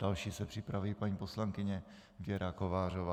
Další se připraví paní poslankyně Věra Kovářová.